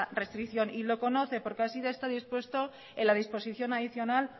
restricción y lo conoce porque así lo está dispuesto en la disposición adicional